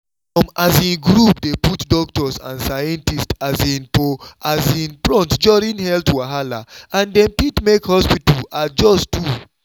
some um group dey put doctors and scientists um for um front during health wahala and dem fit make hospital adjust too.